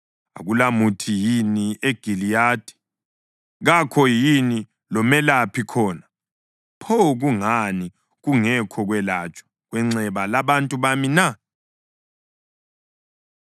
Akulamuthi yini eGiliyadi? Kakho yini lomelaphi khona? Pho kungani kungekho kwelatshwa kwenxeba labantu bami na?